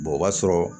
o b'a sɔrɔ